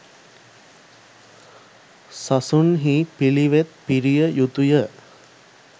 සසුන්හි පිළිවෙත් පිරිය යුතු ය.